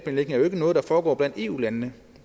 er jo ikke noget der foregår blandt eu landene